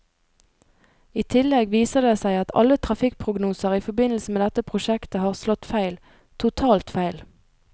I tillegg viser det seg at alle trafikkprognoser i forbindelse med dette prosjektet har slått feil, totalt feil.